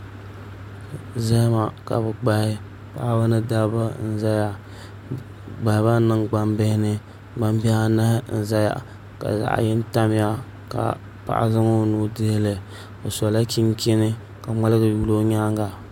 Zahama ka bi gbahi paɣaba ni dabba n ʒɛya bi gbahabami niŋ gbambihi ni gbambihi anahi n ʒɛya ka zaŋ yini tamya ka paɣa zaŋ o nuu dihili o sola chinchini ka ŋmaligi yuli o nyaanga